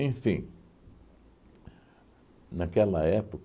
naquela